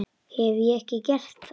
Hef ég ekki gert það?